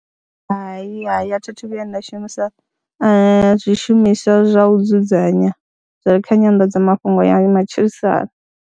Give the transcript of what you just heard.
Hai, hai a thi thu vhuya nda shumisa zwishumiswa zwa u dzudzanya zwa kha nyanḓadzamafhungo ya matshilisano.